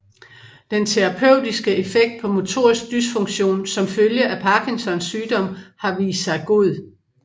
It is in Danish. Den terapeutiske effekt på motorisk dysfunktion som følge af Parkinsons sygdom har vist sig god